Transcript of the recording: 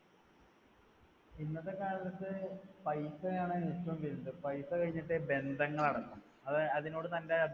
ഇന്നത്തെ കാലത്ത് പൈസ ആണ് ഏറ്റവും വലുത്. പൈസ കഴിഞ്ഞിട്ടേ ബന്ധങ്ങൾ അടക്കം. അതിനോട് തന്‍ടെ